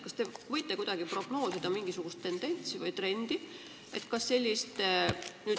Kas te oskate kuidagi prognoosida mingisugust tendentsi või trendi?